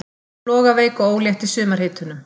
Flogaveik og ólétt í sumarhitunum.